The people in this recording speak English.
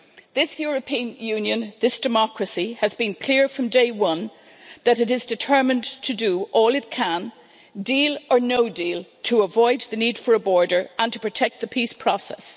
This European Union, this democracy, has been clear from day one that it is determined to do all it can, deal or no deal, to avoid the need for a border and to protect the peace process.